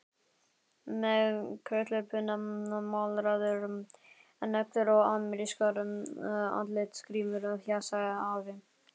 Með krullupinna, málaðar neglur og amerískar andlitsgrímur, fjasaði afi.